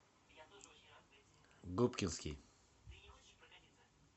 губкинский